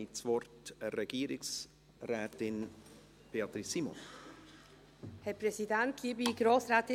Ich gebe Regierungsrätin Beatrice Simon das Wort.